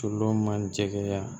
Solomani jɛkɛ